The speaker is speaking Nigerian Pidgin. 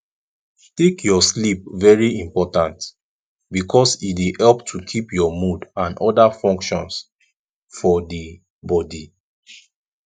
take your sleep very important because e dey help to keep your mood and oda functions for di body